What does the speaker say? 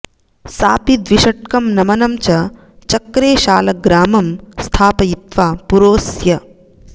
सापि द्विषट्कं नमनं च चक्रे शालग्रामं स्थापयित्वा पुरोऽस्य